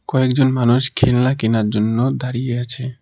কয়েকজন মানুষ খেলনা কেনার জন্য দাঁড়িয়ে আছে।